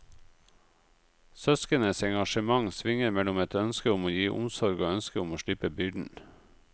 Søsknenes engasjement svinger mellom et ønske om å gi omsorg og ønsket om å slippe byrden.